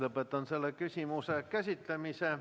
Lõpetan selle küsimuse käsitlemise.